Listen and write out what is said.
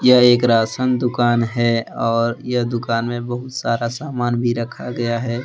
यह एक राशन दुकान है और यह दुकान में बहुत सारा सामान भी रखा गया है।